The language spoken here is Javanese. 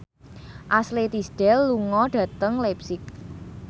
Ashley Tisdale lunga dhateng leipzig